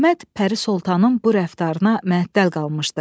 Əhməd Pəri Sultanın bu rəftarına məəttəl qalmışdı.